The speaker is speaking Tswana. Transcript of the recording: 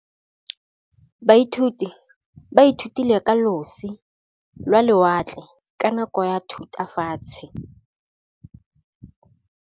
Baithuti ba ithutile ka losi lwa lewatle ka nako ya Thutafatshe.